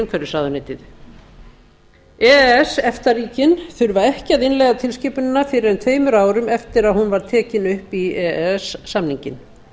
umhverfisráðuneytið e e s efta ríkin þurfa ekki að innleiða tilskipunina fyrr en tveimur árum eftir að hún var tekin upp í e e s samninginn